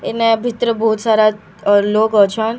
ଇନେ ଭିତରେ ବହୁସାରା ଲୋକ୍‌ ଅଛନ୍‌।